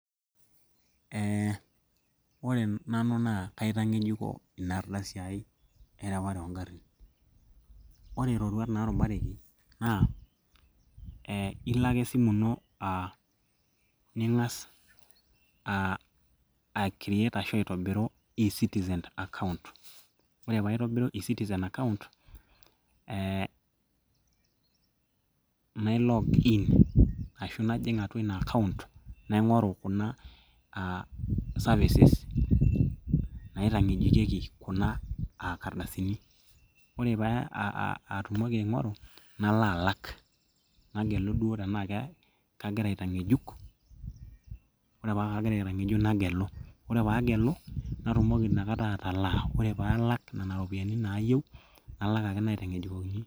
eh, ore nanu naa kaitang'ejuko ina ardasi ai ereware ongarrin ore iroruat naarubareki naa eh, ilo ake esimu ino ning'as ae create ashu aitobiru e citizen account ore paitobiru e citizen account eh, nae login ashu najing atua ina account naing'oru kuna uh services[ccs] naitang'ejukieki kuna ardasini ore paatumoki aing'oru nalo alak nagelu duo tenaa kagira aitang'ejuk ore paa kagira aitang'ejuk nagelu ore paaagelu natumoki inakata atalaa ore paalak nena ropiyiani nayieu nalak ake naitang'ejukokini.